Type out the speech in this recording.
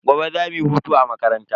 Gobe za mu yi hutu a makaranta.